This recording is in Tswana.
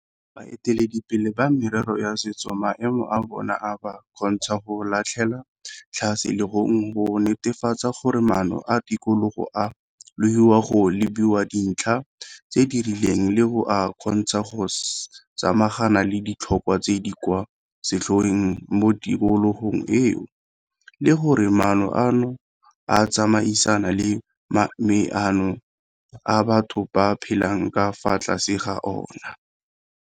Baeteledipele ba merero ya setso maemo a bona a ba kgontsha go latlhela tlhase legong go netefatsa gore maano a tikologo a logiwa go lebilwe dintlha tse di rileng le go a kgontsha go samagana le ditlhokwa tse di kwa setlhoeng mo tikologong eo le gore maano ano a tsamaisana le maemo a batho ba phelang ka fa tlase ga ona.